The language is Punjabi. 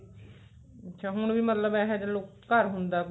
ਅੱਛਾ ਹੁਣ ਵੀ ਮਤਲਬ ਇਹੋ ਜਿਹੇ ਲੋਕ ਘਰ ਹੁੰਦਾ ਕੋਈ